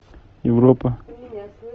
европа